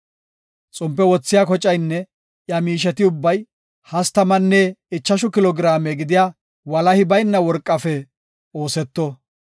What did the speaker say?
Xompe wothiya kocaynne iya miisheti ubbay hastamanne ichashu kilo giraame gidiya walahi bayna worqafe ooseto.